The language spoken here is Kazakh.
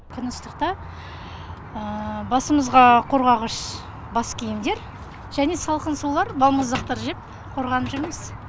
күн ыстықта басымызға қорғағыш бас киімдер және салқын сулар балмұздақтар жеп қорғанып жүрміз